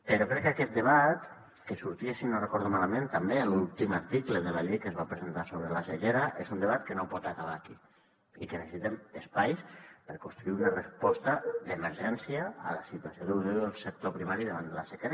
però crec que aquest debat que sortia si no recordo malament també a l’últim article de la llei que es va presentar sobre la sequera és un debat que no pot acabar aquí i que necessitem espais per construir una resposta d’emergència a la situació que avui viu el sector primari davant de la sequera